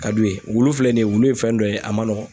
Ka d'u ye. Wulu filɛ nin ye, wulu ye fɛn dɔ ye a man nɔgɔ.